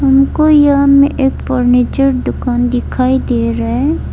हमको यह में एक फर्नीचर दुकान दिखाई दे रहा है।